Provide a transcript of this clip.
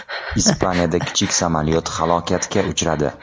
Ispaniyada kichik samolyot halokatga uchradi.